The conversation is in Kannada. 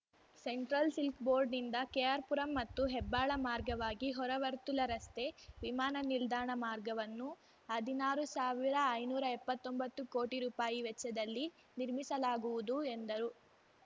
ಸೆಂಟ್ರಲ್ ಸಿಲ್ಕ್ ಬೋರ್ಡ್‌ನಿಂದ ಕೆಆರ್ ಪುರಂ ಮತ್ತು ಹೆಬ್ಬಾಳ ಮಾರ್ಗವಾಗಿ ಹೊರವರ್ತುಲ ರಸ್ತೆ ವಿಮಾನ ನಿಲ್ದಾಣ ಮಾರ್ಗವನ್ನು ಹದಿನಾರು ಸಾವಿರಐನೂರಾ ಎಪ್ಪತ್ತೊಂಬತ್ತು ಕೋಟಿ ರೂಪಾಯಿ ವೆಚ್ಚದಲ್ಲಿ ನಿರ್ಮಿಸಲಾಗುವುದು ಎಂದರು